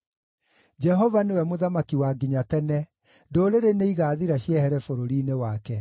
Jehova nĩwe Mũthamaki wa nginya tene; ndũrĩrĩ nĩigathira ciehere bũrũri-inĩ wake.